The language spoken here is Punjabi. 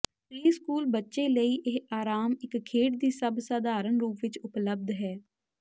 ਪ੍ਰੀਸਕੂਲ ਬੱਚੇ ਲਈ ਇਹ ਆਰਾਮ ਇੱਕ ਖੇਡ ਦੀ ਸਭ ਸਧਾਰਨ ਰੂਪ ਵਿੱਚ ਉਪਲੱਬਧ ਹੈ